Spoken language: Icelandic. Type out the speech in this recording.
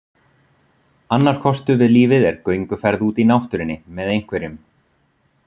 Annar kostur við lífið er gönguferð úti í náttúrunni, með einhverjum.